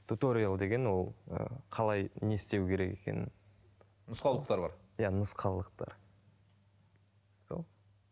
туториол деген ол ы қалай не істеу керек екенін нұсқаулықтар бар иә нұсқаулықтар сол